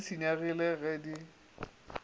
ge di senyegile ge di